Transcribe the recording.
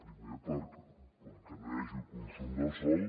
primer perquè no hi hagi consum del sòl